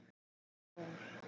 Þinn Þór.